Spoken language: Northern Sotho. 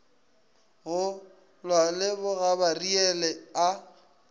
go lwa le bogabariele a